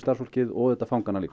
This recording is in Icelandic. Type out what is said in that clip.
og fangana